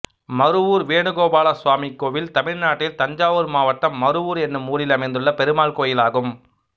மருவூர் வேணுகோபால சுவாமி கோயில் தமிழ்நாட்டில் தஞ்சாவூர் மாவட்டம் மருவூர் என்னும் ஊரில் அமைந்துள்ள பெருமாள் கோயிலாகும்